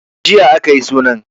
Jiya a ka yi sunan.